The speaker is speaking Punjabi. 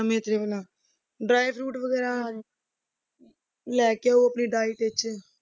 ਵਾਲਾ dry fruits ਵਗ਼ੈਰਾ ਲੈ ਕੇ ਆਓ ਆਪਣੀ diet ਵਿੱਚ।